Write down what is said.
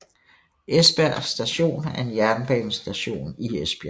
Esbjerg Station er en jernbanestation i Esbjerg